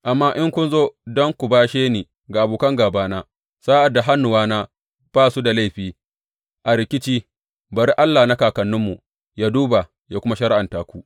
Amma in kun zo don ku bashe ni ga abokan gābana sa’ad da hannuwana ba su da laifi a rikici, bari Allah na kakanninmu yă duba yă kuma shari’anta ku.